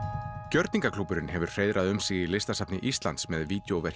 gjörningaklúbburinn hefur hreiðrað um sig í Listasafni Íslands með